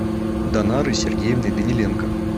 данарой сергеевной даниленко